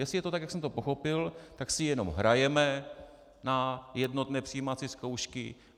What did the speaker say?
Jestli je to tak, jak jsem to pochopil, tak si jenom hrajeme na jednotné přijímací zkoušky.